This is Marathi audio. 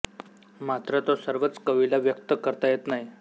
मात्र तो सर्वच कवीला व्यक्त करता येत नाही